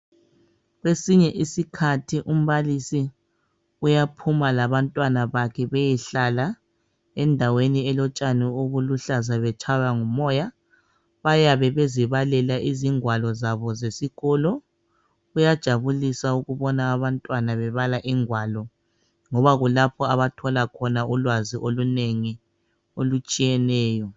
Kwesinye isikhathi umbalisi uyaphuma labantwana bakhe beyehlala endaweni elotshani obuluhlaza betshaywa ngumoya bayabe bezibalela izingwalo zabo zesikolo kuyajabulisa ukubona abantwana bebala ingwalo ngoba kulapho abathola khona ulwazi olunengi olutshiyeneyo